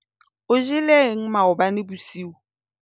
o jeleng maobane bosiu?